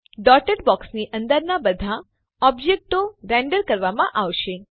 dotted બોક્સની અંદરના બધા ઓબ્જેક્ટો રેન્ડર કરવામાં આવશે